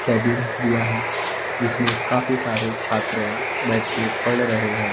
Cabin दिया है जीसमें काफी सारे छात्राएं बैठ के पढ़ रहे हैं।